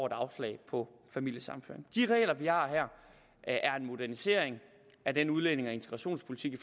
et afslag på familiesammenføring de regler vi har her er en modernisering af den udlændinge og integrationspolitik i